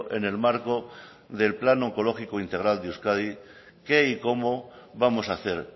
en el marco del plan oncológico integral de euskadi qué y cómo vamos a hacer